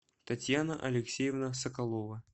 татьяна алексеевна соколова